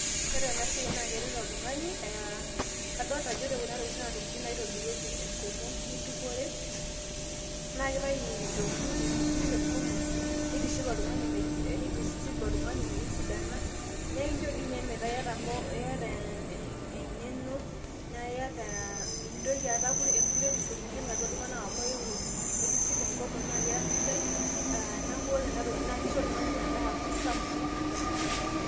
Ore enasiai naa keret oltungani aa kadolita ajo ore kuna tokitin naa naitobirieki enkomom na keiitau eririe tenkomom neitiship oltungani neitisip oltungani metisidana naekincho metaa iyata engeno naiyata, mintoki atum enkuretisho teneining ati iltnganak kumokame keaku ira sidai na kesipa enkomo aa neaku ore enatoki na kiko oltungani petaa kesafi .